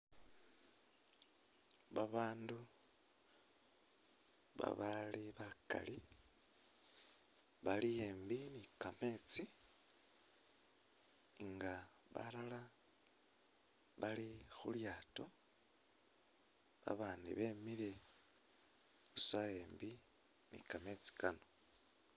Babandu babali bakali bali imbi ni kametsi nga balala bali khu lyato abandi bemile busa embi ni kamesti kano.